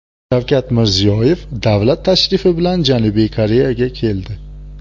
Shavkat Mirziyoyev davlat tashrifi bilan Janubiy Koreyaga keldi.